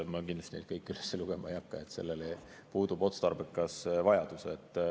Ma kindlasti neid kõiki üles lugema ei hakka, selleks puudub otstarbekas vajadus.